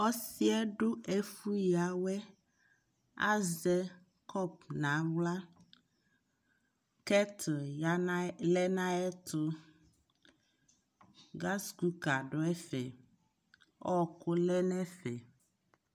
Ɔsi yɛ du ɛfu ya wɛ Azɛ kɔp na ɣlaKɛtil lɛ na yɛ tuGas kuka du ɛfɛƆku lɛ nɛ fɛ